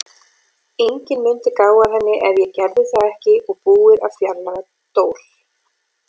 Enginn mundi gá að henni ef ég gerði það ekki og búið að fjarlægja Dór.